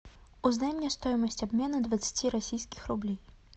узнай мне стоимость обмена двадцати российских рублей